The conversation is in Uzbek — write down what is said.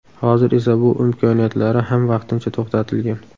Hozir esa bu imkoniyatlari ham vaqtincha to‘xtatilgan.